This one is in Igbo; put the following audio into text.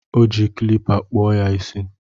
Ọ ji kilipa kpọọ ya isi